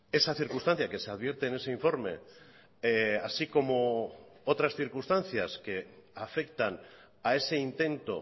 esa circunstancia que se advierte en ese informe así como otras circunstancias que afectan a ese intento